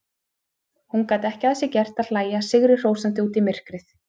Hún gat ekki að sér gert að hlæja sigrihrósandi út í myrkrið.